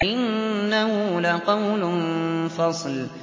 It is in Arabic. إِنَّهُ لَقَوْلٌ فَصْلٌ